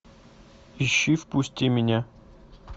ищи впусти меня